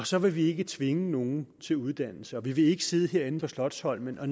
så vil vi ikke tvinge nogen til uddannelse og vi vil ikke sidde herinde på slotsholmen og